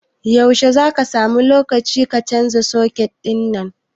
Yaushe ne zaka nemi lokaci ka canza suket ɗin nan?